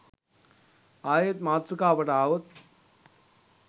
ආයෙත් මාතෘකාවට ආවොත්